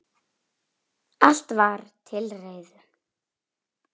Allt var til reiðu.